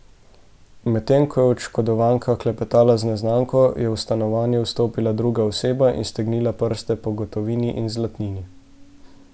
Medtem ko je oškodovanka klepetala z neznanko, je v stanovanje vstopila druga oseba in stegnila prste po gotovini in zlatnini.